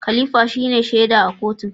Khalifa shine shaida a kotun.